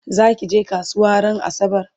zakije kasuwa ran asabar?